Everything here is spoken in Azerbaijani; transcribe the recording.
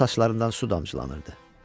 Onun saçlarından su damcılanırdı.